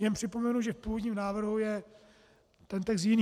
Jen připomenu, že v původním návrhu je ten text jiný.